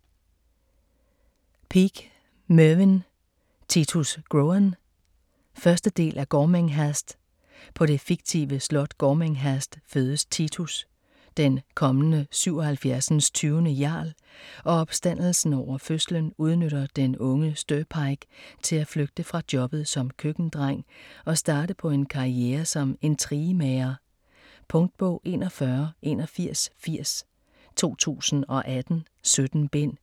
Peake, Mervyn: Titus Groan 1. del af Gormenghast. På det fiktive slot Gormenghast fødes Titus, den kommende 77. jarl, og opstandelsen over fødslen udnytter den unge Steerpike til at flygte fra jobbet som køkkendreng og starte på en karriere som intrigemager. Punktbog 418180 2018. 17 bind.